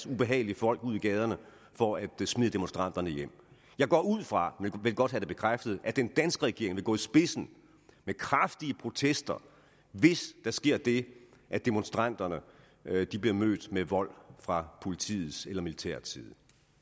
ubehagelige folk ud i gaderne for at smide demonstranterne hjem jeg går ud fra men vil godt have det bekræftet at den danske regering vil gå i spidsen med kraftige protester hvis der sker det at demonstranterne bliver mødt med vold fra politiets eller militærets side